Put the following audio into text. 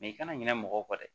i kana ɲinɛ mɔgɔ kɔ dɛ